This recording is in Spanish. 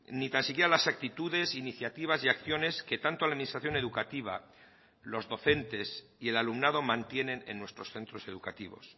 ni tan siquiera las actitudes iniciativas y acciones que tanto a la administración educativa los docentes y el alumnado mantienen en nuestros centros educativos